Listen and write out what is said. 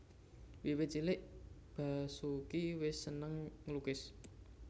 Wiwit cilik Basoeki wis seneng nglukis